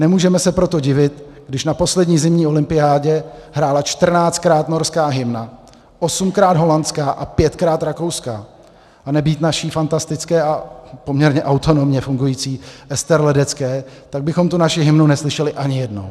Nemůžeme se proto divit, když na poslední zimní olympiádě hrála čtrnáctkrát norská hymna, osmkrát holandská a pětkrát rakouská, a nebýt naší fantastické a poměrně autonomně fungující Ester Ledecké, tak bychom tu naši hymnu neslyšeli ani jednou.